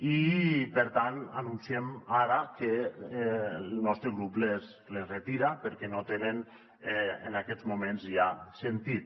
i per tant anunciem ara que el nostre grup les retira perquè no tenen en aquests moments ja sentit